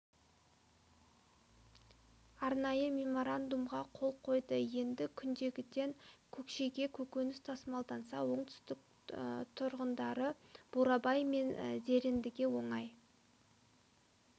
арнайы меморандумға қол қойды енді күнгейден көкшеге көкөніс тасымалданса оңтүстік тұрғындары бурабай мен зерендіге оңай